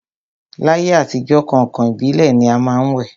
L'ayé àtijọ́, kàǹkàn ìbílẹ̀ ni a má ń wẹ̀